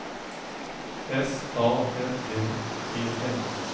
S A N D E N